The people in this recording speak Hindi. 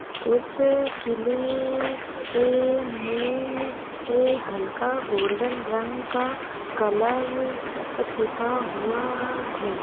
उस किले ए में ए हल्का गोल्डन रंग का कलर पुता हुआ हे ।